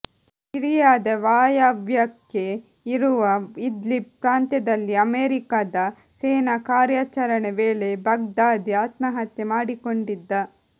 ಸಿರಿಯಾದ ವಾಯವ್ಯಕ್ಕೆ ಇರುವ ಇದ್ಲಿಬ್ ಪ್ರಾಂತ್ಯದಲ್ಲಿ ಅಮೆರಿಕದ ಸೇನಾ ಕಾರ್ಯಾಚರಣೆ ವೇಳೆ ಬಗ್ದಾದಿ ಆತ್ಮಹತ್ಯೆ ಮಾಡಿಕೊಂಡಿದ್ದ